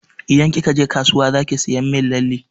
Idan kika je kasuwa zaki saya min lalle.